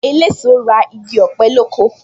Eléso ra igi ọ̀pẹ lóko